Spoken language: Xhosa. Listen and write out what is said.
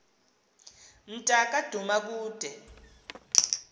mnta ka dumakude